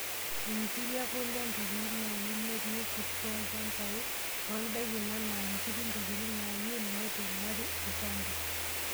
Nkiri, ekule, ontokitin naanyil netii irkurt lolchambai toondaikin enaa nkiri ntokitin naaninyil naitung'ari ilchambai.